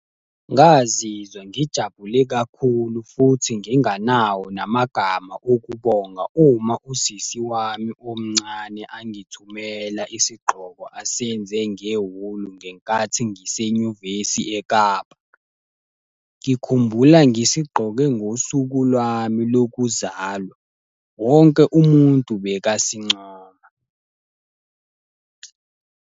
Ngazizwa ngijabule kakhulu futhi nginganawo namagama okubonga uma usisi wami omncane angithumela isigqoko asenze ngewuli ngenkathi ngisenyuvesi eKapa. Ngikhumbula ngisigqoke ngosuku lwami lokuzalwa, wonke umuntu bekasincoma.